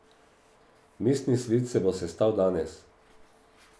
Mestni svet se bo sestal danes.